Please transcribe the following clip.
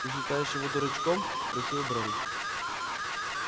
ты считаешь его дурачком спросил брент